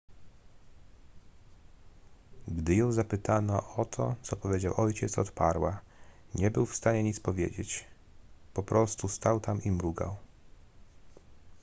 gdy ją zapytano o to co powiedział ojciec odparła nie był w stanie nic powiedzieć po prostu stał tam i mrugał